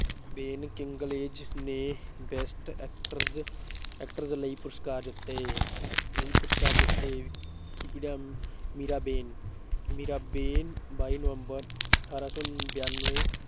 ਬੇਨ Kingsley ਨੇ best actress actress ਲਈ ਪੁਰਸਕਾਰ ਜਿੱਤੇ, ਲਈ ਪੁਰਸਕਾਰ ਜਿੱਤੇ ਮੀਰਾਬੇਨ ਮੀਰਾਬੇਨ ਬਾਈ ਨਵੰਬਰ ਅਠਾਰਾਂ ਸੌ ਬਾਨਵੇਂ